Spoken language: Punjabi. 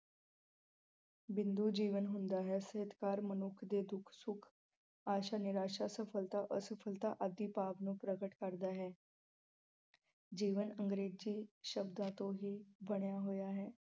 ਬਿੰਦੂ ਜੀਵਨ ਹੁੰਦਾ ਹੈ। ਸਿਹਤਕਾਰ ਮਨੁੱਖ ਦੇ ਦੁੱਖ-ਸੁੱਖ, ਆਸ਼ਾ-ਨਿਰਾਸ਼ਾ, ਸਫ਼ਲਤਾ-ਅਸਫ਼ਲਤਾ ਆਦਿ ਭਾਵ ਨੂੰ ਪ੍ਰਗਟ ਕਰਦਾ ਹੈ। ਜੀਵਨ ਅੰਗਰੇਜ਼ੀ ਸ਼ਬਦਾਂ ਤੋਂ ਹੀ ਬਣਿਆ ਹੋਇਆ ਹੈ।